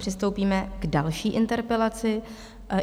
Přistoupíme k další interpelaci.